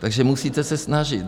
Takže musíte se snažit.